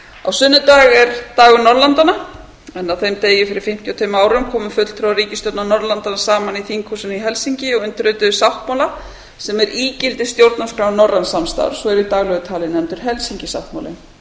á sunnudag er dagur norðurlandanna á þeim degi fyrir fimmtíu og tveimur árum komu fulltrúar ríkisstjórnar norðurlandanna saman í þinghúsinu í helsinki og undirrituðu sáttmála sem er ígildi stjórnarskrár norræns samstarfs og er í daglegu tali nefndur helsinki sáttmálinn